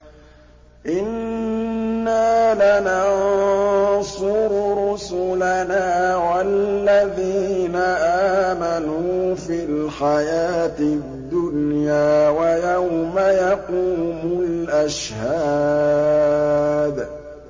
إِنَّا لَنَنصُرُ رُسُلَنَا وَالَّذِينَ آمَنُوا فِي الْحَيَاةِ الدُّنْيَا وَيَوْمَ يَقُومُ الْأَشْهَادُ